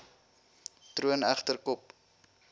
troon egter kop